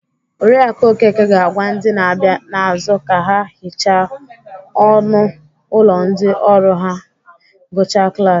Oriakụ Okeke ga-agwa ndị na-abịa n'azụ ka ha hichaa ọnụ ụlọ ndị ọrụ ma ha gụchaa klas